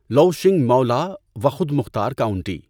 لؤچینگ Mulao خود مختار county